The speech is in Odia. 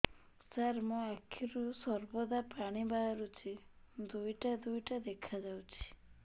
ସାର ମୋ ଆଖିରୁ ସର୍ବଦା ପାଣି ବାହାରୁଛି ଦୁଇଟା ଦୁଇଟା ଦେଖାଯାଉଛି